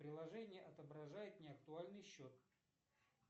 приложение отображает неактуальный счет